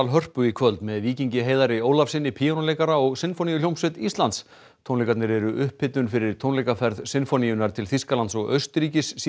Hörpu í kvöld með Víkingi Heiðari Ólafssyni píanóleikara og Sinfóníuhljómsveit Íslands tónleikarnir eru upphitun fyrir tónleikaferð Sinfóníunnar til Þýskalands og Austurríkis síðar